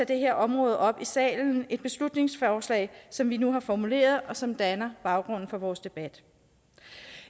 det her område op i salen med et beslutningsforslag som vi nu har formuleret og som danner baggrund for vores debat